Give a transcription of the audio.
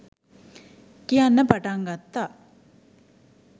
කියන්න පටන් ගත්තා.